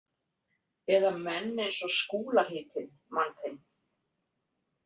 Eða menn eins og Skúla heitinn mann þinn.